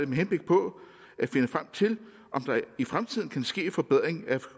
med henblik på at finde frem til om der i fremtiden kan ske en forbedring af